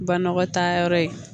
Banɔgɔ taayɔrɔ ye